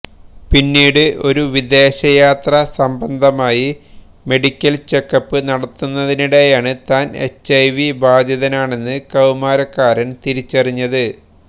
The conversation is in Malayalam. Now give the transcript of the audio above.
പിന്നീട് ഒരു വിദേശയാത്ര സംബന്ധമായി മെഡിക്കൽ ചെക്കപ്പ് നടത്തുന്നതിനിടെയാണ് താൻ എച്ച്ഐവി ബാധിതനാണെന്ന് കൌമാരക്കാരന് തിരിച്ചറിഞ്ഞത്